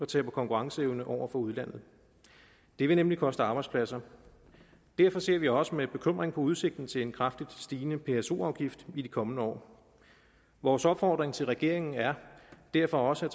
taber konkurrenceevne over for udlandet det vil nemlig koste arbejdspladser derfor ser vi også med bekymring på udsigten til en kraftigt stigende pso afgift i de kommende år vores opfordring til regeringen er derfor også at